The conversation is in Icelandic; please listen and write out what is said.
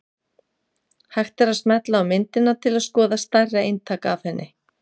Hægt er að smella á myndina til að skoða stærra eintak af henni.